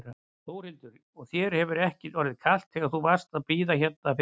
Þórhildur: Og þér hefur ekki orðið kalt þegar þú varst að bíða hérna fyrir utan?